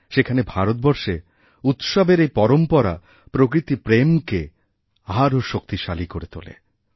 সেখানে ভারতবর্ষে উৎসবের এই পরম্পরা প্রকৃতিপ্রেমকে আরও শক্তিশালী করেতোলে